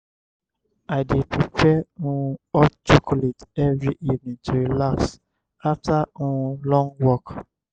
i dey prepare um hot chocolate every evening to relax after um long work.